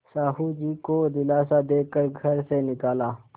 साहु जी को दिलासा दे कर घर से निकाला